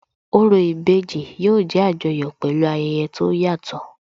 Orò ìbejì yóò jẹ́ Àjọyọ̀ pẹ̀lú ayẹyẹ tó yàtọ̀